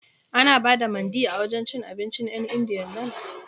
Ana ba da Mandi a wajen cin abincin 'yan Indiyan nan?